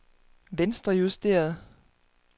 venstrejusteret